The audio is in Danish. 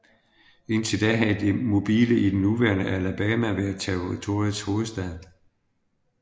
Indtil da havde Mobile i det nuværende Alabama været territoriets hovedstad